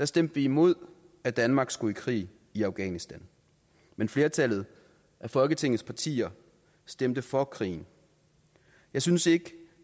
stemte vi imod at danmark skulle i krig i afghanistan men flertallet af folketingets partier stemte for krigen jeg synes ikke